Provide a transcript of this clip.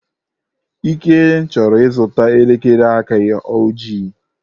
Ike chọrọ ịzụta elekere aka ojii.